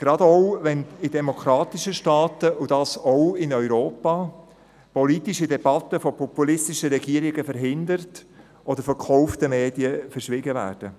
gerade auch, wenn in demokratischen Staaten, auch in Europa, politische Debatten von populistischen Regierungen verhindert oder von gekauften Medien verschwiegen werden.